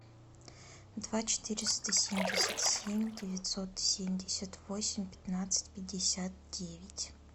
два четыреста семьдесят семь девятьсот семьдесят восемь пятнадцать пятьдесят девять